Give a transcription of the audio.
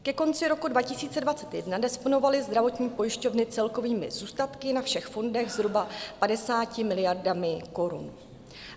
Ke konci roku 2021 disponovaly zdravotní pojišťovny celkovými zůstatky na všech fondech zhruba 50 miliardami korun.